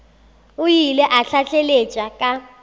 o ile a tlaleletša ka